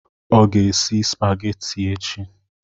Ọ ga-esi spageti echi.